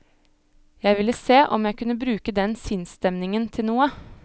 Jeg ville se om jeg kunne bruke den sinnsstemningen til noe.